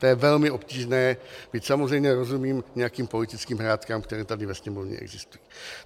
To je velmi obtížné, byť samozřejmě rozumím nějakým politickým hrátkám, které tady ve Sněmovně existují.